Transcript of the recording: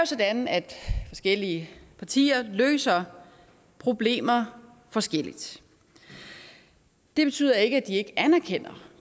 sådan at forskellige partier løser problemer forskelligt det betyder ikke at man ikke anerkender